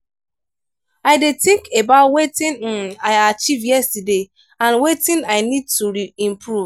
i dey think about wetin um i achieve yesterday and wetin i need to improve.